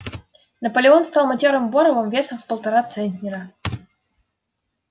наполеон стал матёрым боровом весом в полтора центнера